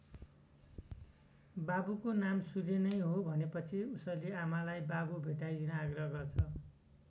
बाबुको नाम सूर्य नै हो भनेपछि उसले आमालाई बाबु भेटाइदिन आग्रह गर्छ।